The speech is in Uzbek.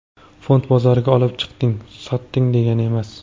Fond bozoriga olib chiqding, sotding degani emas.